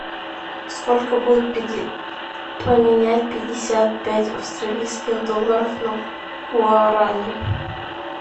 сколько будет поменять пятьдесят пять австралийских долларов на гуарани